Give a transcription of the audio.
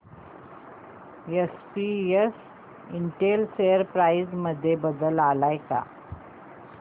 SPS Intel share price मध्ये बदल आलाय का